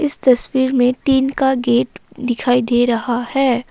इस तस्वीर में टीन का गेट दिखाई दे रहा है।